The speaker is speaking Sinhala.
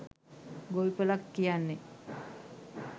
ගොවිපලක් කියන්නෙ